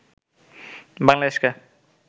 বাংলাদেশকে